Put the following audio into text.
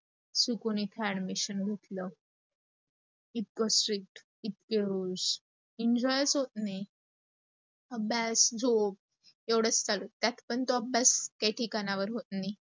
चुकून इथ admission घेतलं. इतके strict इतके rules. enjoy च होत नाही. अभ्यास, झोप, एवढंच चालू, त्यात पण तो अभ्यास त्या ठिकाणावर होत नाही.